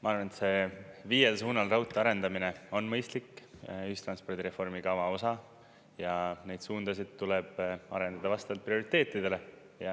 Ma arvan, et see viiel suunal raudtee arendamine on mõistlik ühistranspordi reformikava osa ja neid suundasid tuleb arendada vastavalt prioriteetidele.